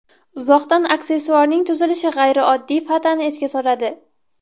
Uzoqdan aksessuarning tuzilishi g‘ayrioddiy fatani esga soladi.